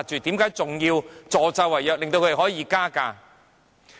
為何仍然要助紂為虐，容許他們加價？